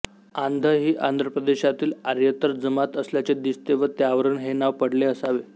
आंध ही आंध्रप्रदेशातील आर्येतर जमात असल्याचे दिसते व त्यावरून हे नाव पडले असावे